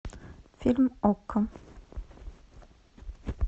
фильм окко